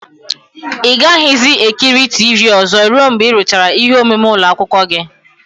Ị gaghịzi ekiri tivii ozo ruo mgbe ị rụchara ihe omume ụlọ akwụkwọ gị.